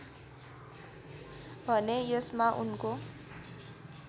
भने यसमा उनको